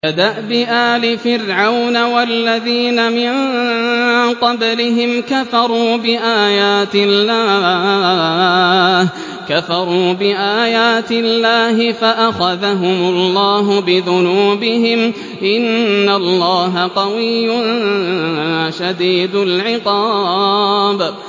كَدَأْبِ آلِ فِرْعَوْنَ ۙ وَالَّذِينَ مِن قَبْلِهِمْ ۚ كَفَرُوا بِآيَاتِ اللَّهِ فَأَخَذَهُمُ اللَّهُ بِذُنُوبِهِمْ ۗ إِنَّ اللَّهَ قَوِيٌّ شَدِيدُ الْعِقَابِ